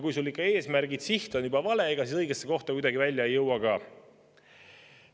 Kui sul ikka eesmärk ja siht on juba valed, ega siis õigesse kohta kuidagi välja ei jõua ka.